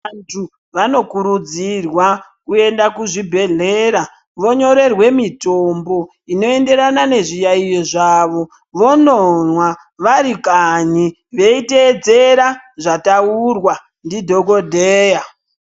Vantu vanokurudzirwa kuenda kuzvibhedhlera vonyorerwe mitombo inoenderana nezviyaiyo zvavo, vonomwa vari kanyi veiteedzera zvataurwa ndidhokodheya.